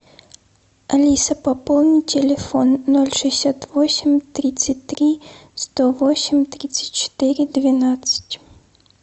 алиса пополни телефон ноль шестьдесят восемь тридцать три сто восемь тридцать четыре двенадцать